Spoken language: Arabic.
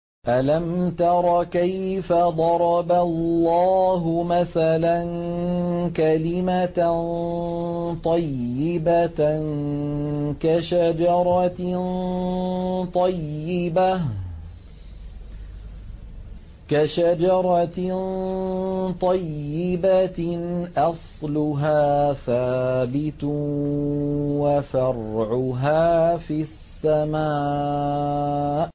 أَلَمْ تَرَ كَيْفَ ضَرَبَ اللَّهُ مَثَلًا كَلِمَةً طَيِّبَةً كَشَجَرَةٍ طَيِّبَةٍ أَصْلُهَا ثَابِتٌ وَفَرْعُهَا فِي السَّمَاءِ